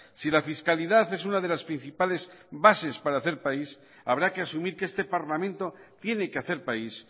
si la fiscalidad es una de las principales bases para hacer país habrá que asumir que este parlamento tiene que hacer país